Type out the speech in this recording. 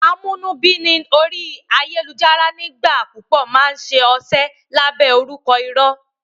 Àwọn amúnúbíni orí ayélùjára nígbà púpọ̀ máa n ṣe ọṣẹ́ lábẹ́ orúkọ irọ́